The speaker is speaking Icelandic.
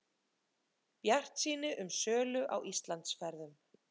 Bjartsýni um sölu á Íslandsferðum